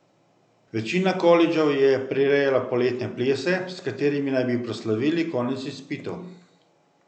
Večina kolidžev je prirejala poletne plese, s katerimi naj bi proslavili konec izpitov.